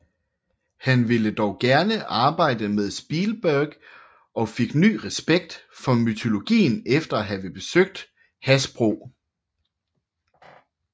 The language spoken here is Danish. Han ville dog gerne arbejde med Spielberg og fik ny respekt for mytologien efter at have besøgt Hasbro